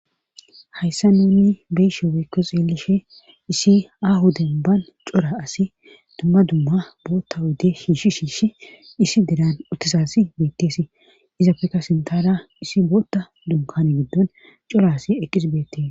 Hayssa nuni beysho oweykko xeelishe issi ahoden ban cora asi dumma dumma bootta wodde shiishi shiishi issi deran utisasi beettesi iza pekka sintara issi bootta dunkan giddon cora asi eqqis beettee